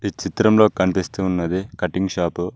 ఈ చిత్రంలో కనిపిస్తు ఉన్నది కటింగ్ షాపు .